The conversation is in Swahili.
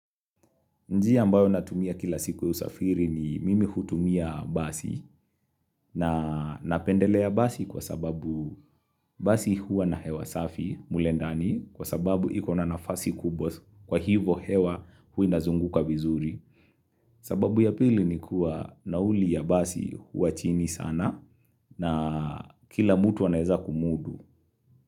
Njia ambayo natumia kila siku ya usafiri ni mimi hutumia basi na napendelea basi kwa sababu basi hua na hewa safi mule ndani kwa sababu iko na nafasi kubwa kwa hivo hewa huwa inazunguka vizuri. Sababu ya pili ni kuwa nauli ya basi hua chini sana na kila mutu anaweza kumudu.